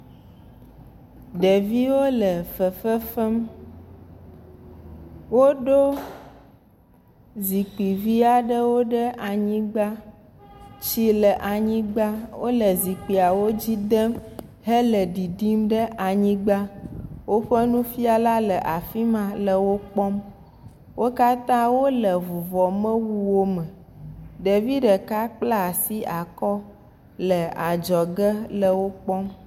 Ɖeviwo le fefefm. Woɖo zikpui vi aɖe ɖe anyigbã. Tsi le anyigbã. Wole zikpiawo dzi dem hele ɖiɖim ɖe anyigbã. Woƒe nufiala le afima hele wokpɔm. wo kata wole vuvɔmewuwo me. Ɖevi ɖeka kpla asi akɔ hele adzoge hele wo kpɔm.